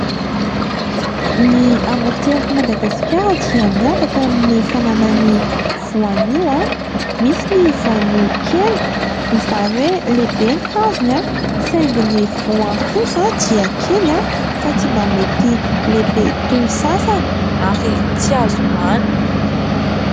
Ny amoron-tsirak'i Madagaskara dia miavaka amin'ny fananany voanio. Misy ny vonio kely izany hoe lehibe ny hazony saingy ny voany kosa dia kely fa tsy mba mety lehibe toy ny sasany ary tsy azo hoanina.